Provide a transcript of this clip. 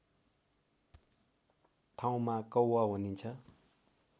ठाउँमा कौवा भनिन्छ